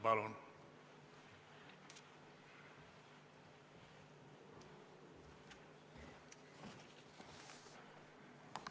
Palun!